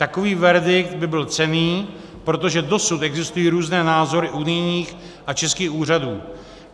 Takový verdikt by byl cenný, protože dosud existují různé názory unijních a českých úřadů.